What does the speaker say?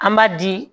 An b'a di